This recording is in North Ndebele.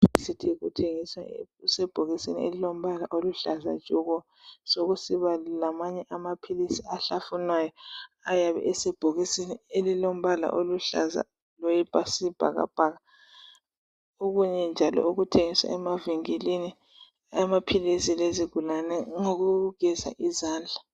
Umuthi othengiswayo usebhokisini eliluhlaza tshoko lamanye amapills ahlafunwayo ayabe esebhokisini eliluhlaza okwesibhakabhaka okunye okuthengiswa emavinkilini okwezigulani ngokokugeza izandla